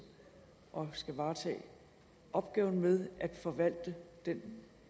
og skal varetage opgaven med at forvalte den